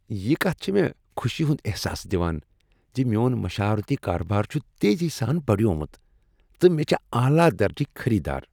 یہ کتھ چھ مےٚ خوشی ہنٛد احساس دوان ز میون مشاورتی کارٕبار چھ تیزی سان بڑیومت، تہٕ مےٚ چھ اعلی درجکۍ خریدار۔